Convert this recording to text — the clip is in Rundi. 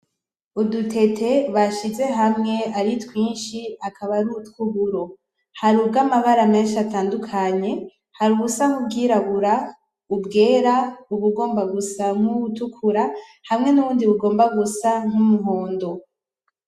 Udutete bashize hamwe ari twinshi akaba ari utw'uburo, hari ubwamabara menshi atandukanye, hari ubusa nk'ubwirabura, ubwera, ubugomba gusa nkubutukura hamwe nubundi bugomba gusa nk'umuhondo.